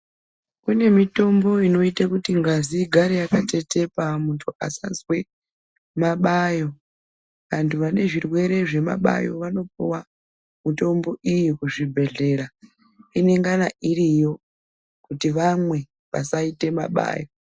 Kune mitombo inote kuti ngazi igare yakatetepa muntu asazwe mabayo antu ane zvirwere zvemabayo anopiwa mitombo iyi kuzvibhdhleya inengana iriyo kuti vamwe vasaite mabayo.